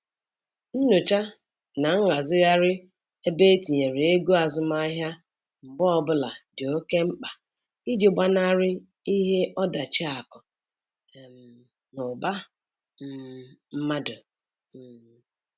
Nyocha na nghazigharị ebe etinyere ego azụmahịa mgbe ọbụla dị oke mkpa iji gbanarị ihe ọdachi akụ um na ụba um mmadụ. um